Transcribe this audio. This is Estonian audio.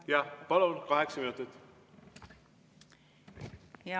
Jah, palun, kaheksa minutit!